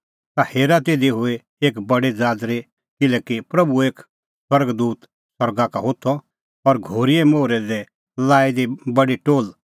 ता हेरा तिधी हुई एक बडी ज़ाज़री किल्हैकि प्रभूओ एक स्वर्ग दूत सरगा का होथअ और घोरीए मोहरै दी लाई दी बडी टोल्ह बदल़ी पोर्ही और आप्पू बेठअ तेता प्रैंदै